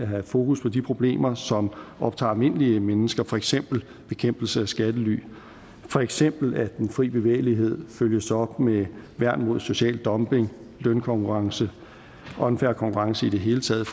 have fokus på de problemer som optager almindelige mennesker for eksempel bekæmpelse af skattely for eksempel at den fri bevægelighed følges op med værn mod social dumping lønkonkurrence og en fair konkurrence i det hele taget